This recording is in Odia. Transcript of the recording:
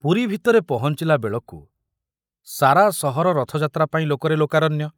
ପୁରୀ ଭିତରେ ପହଞ୍ଚିଲା ବେଳକୁ ସାରା ସହର ରଥଯାତ୍ରା ପାଇଁ ଲୋକରେ ଲୋକାରଣ୍ୟ।